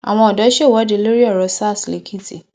àwọn ọdọ ṣèwọde lórí ọrọ sars lẹkìtì